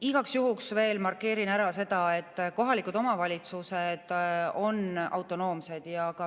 Igaks juhuks veel markeerin ära, et kohalikud omavalitsused on autonoomsed.